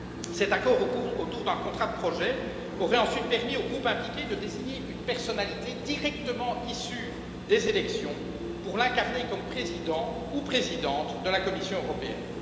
Cet accord autour d'un contrat de projet aurait ensuite permis aux groupes impliqués de désigner une personnalité directement issue des élections pour l'incarner, comme président ou présidente de la Commission européenne.